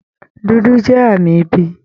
Dúdú jẹ́ àmì ibi